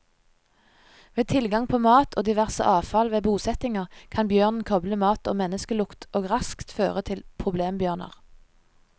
Ved tilgang på mat og diverse avfall ved bosettinger, kan bjørnen koble mat og menneskelukt og raskt føre til problembjørner.